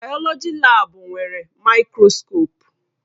Bayoloji laabu nwere maịkroskopụ.